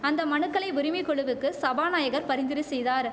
அந்த மனுக்களை உரிமை குழுவுக்கு சபாநாயகர் பரிந்துரை செய்தாரு